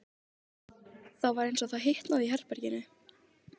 Það var eins og það hitnaði í herberginu.